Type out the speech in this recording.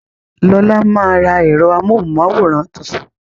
Lola máa ra ẹ̀rọ amóhùn máwòrán tuntun